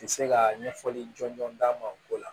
Ti se ka ɲɛfɔli jɔnjɔn d'an ma o ko la